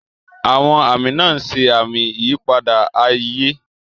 Àwọn àmì náà ń ṣe àmì ìyípadà ayé.